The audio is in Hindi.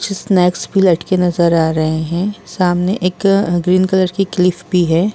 कुछ स्नैक्स भी लटके नजर आ रहे है। सामने एक ग्रीन कलर की क्लीफ़ भी है।